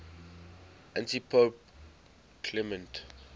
antipope clement